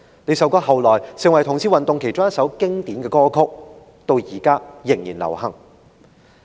這首歌後來成為同志運動其中一首經典歌曲，至今仍然流行。